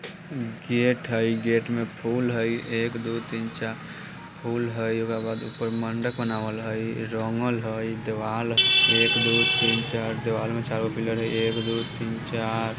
गेट हई गेट में फूल हई एक दो तीन चार फूल हई ओकरा बाद ऊपर मंडप बनाव हइल रंगल हई दीवाल ह एक दो तीन चार दीवाल में चार गो पिलर हई एक दो तीन चार--